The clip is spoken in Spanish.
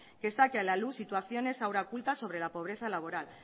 que saque a la luz situaciones aun ocultas sobre la pobreza laboral